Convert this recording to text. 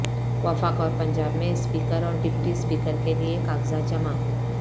وفاق اور پنجاب میں اسپیکر اور ڈپٹی اسپیکر کے لیے کاغذات جمع